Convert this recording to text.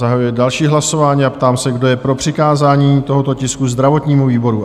Zahajuji další hlasování a ptám se, kdo je pro přikázání tohoto tisku zdravotnímu výboru?